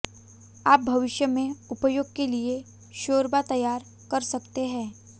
आप भविष्य में उपयोग के लिए शोरबा तैयार कर सकते हैं